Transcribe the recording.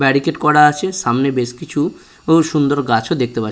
Barricade করা আছে সামনে বেশ কিছু সুন্দর গাছও দেখতে পাচ্ছি।